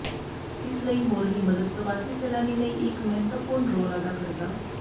ਇਸ ਲਈ ਹੋ ਰਹੀ ਮਦਦ ਪ੍ਰਵਾਸੀ ਸੈਲਾਨੀ ਲਈ ਇੱਕ ਮਹੱਤਵਪੂਰਨ ਰੋਲ ਅਦਾ ਕਰਦਾ